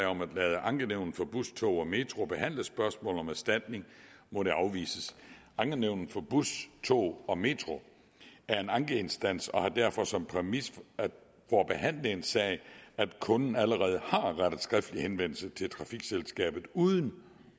om at lade ankenævnet for bus tog og metro behandle spørgsmål om erstatning må det afvises ankenævnet for bus tog og metro er en ankeinstans og har derfor som præmis for at behandle en sag at kunden allerede har rettet skriftlig henvendelse til trafikselskabet uden